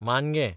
मानगें